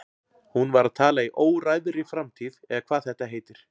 Hún var að tala í óræðri framtíð eða hvað þetta heitir.